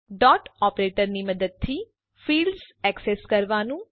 dot operator ની મદદથી fields access કરવાનું